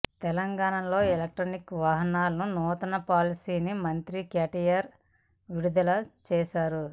తెలంగాణలో ఎలక్ట్రిక్ వాహనాల నూతన పాలసీని మంత్రి కేటీఆర్ విడుదల చేశారు